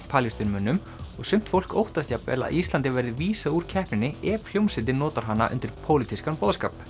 Palestínumönnum og sumt fólk óttast jafnvel að Íslandi verði vísað úr keppninni ef hljómsveitin notar hana undir pólitískan boðskap